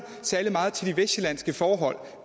særlig meget til de vestsjællandske forhold